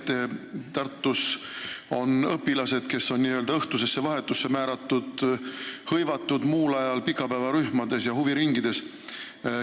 Te mainisite, et Tartus on õpilased, kes on õhtusesse vahetusse määratud, muul ajal hõivatud pikapäevarühmades ja huviringides.